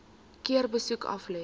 keer besoek aflê